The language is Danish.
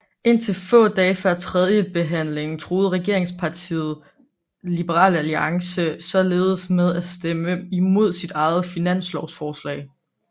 Indtil få dage før tredjebehandlingen truede regeringspartiet Liberal Alliance således med at stemme imod sit eget finanslovsforslag